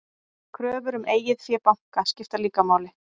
Kröfur um eigið fé banka skipta líka máli.